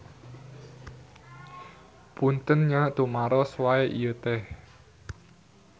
Punten nya tumaros wae ieu teh.